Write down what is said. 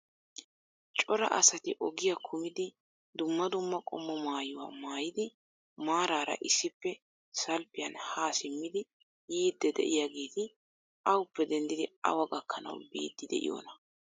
Cora asati ogiyaa kummidi dumma dumma qommo maayyuwaa maayyidi maarara issippe. salppiyaan ha simmidi yiide de'iyaageeti awuppe. denddidi awa gakkanaw biidi de'iyoona?